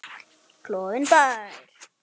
Klofinn bær.